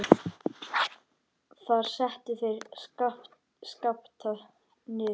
Þar settu þeir Skapta niður.